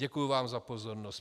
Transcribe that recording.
Děkuji vám za pozornost.